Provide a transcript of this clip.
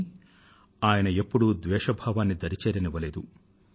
కానీ ఆయన ఎప్పుడూ ద్వేష భావాన్ని దరి చేరనివ్వలేదు